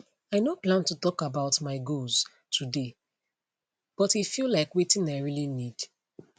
i no plan to talk about my goals today but e feel like like wetin i really need